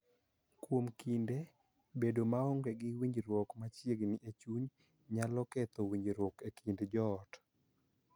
Kuom kinde, bedo maonge gi winjruok machiegni e chuny nyalo ketho winjruok e kind joot,